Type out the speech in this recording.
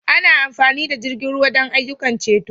Ana amfani da jirgin ruwa don ayyukan ceto.